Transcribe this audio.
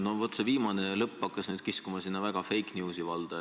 Noh, see viimane lõpp hakkas nüüd väga kiskuma sinna fake news'i valda.